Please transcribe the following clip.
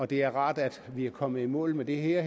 det er rart at vi er kommet i mål med det her